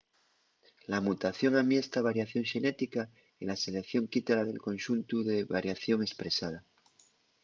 la mutación amiesta variación xenética y la selección quítala del conxuntu de variación espresada